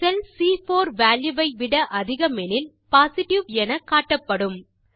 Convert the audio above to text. செல் சி4 வால்யூ வை விட அதிகமெனில் பொசிட்டிவ் என காட்டப்படும்